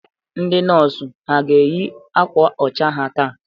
Ndị nọs ha a ga-eyị akwa ọcha ha taa?